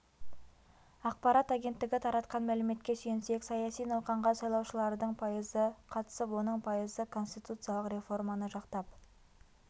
ақпарат агенттігі таратқан мәліметке сүйенсек саяси науқанға сайлаушылардың пайызы қатысып оның пайызы конституциялық реформаны жақтап